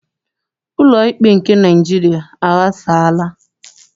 Ụlọikpe nke Naịjiria aghasaala.